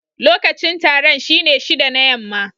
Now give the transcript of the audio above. Lokacin taron shine shida na yamma.